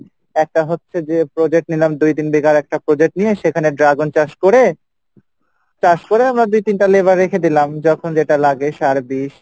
একটা হচ্ছে যে project নিলাম দুই তিন বিঘার একটা project নিয়ে সেখানে dragon চাষ করে, চাষ করে আমরা দুই তিনটা labor রেখে দিলাম যখন যেটা লাগে সার বিষ,